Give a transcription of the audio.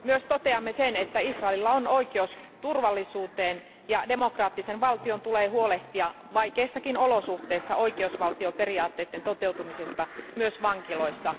Toteamme myös sen, että Israelilla on oikeus turvallisuuteen ja demokraattisen valtion tulee huolehtia vaikeissakin olosuhteissa oikeusvaltioperiaatteiden toteutumisesta myös vankiloissa.